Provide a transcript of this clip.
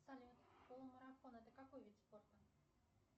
салют полумарафон это какой вид спорта